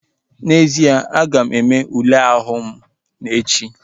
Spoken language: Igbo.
N'ezie, aga m eme ule ahụ m echi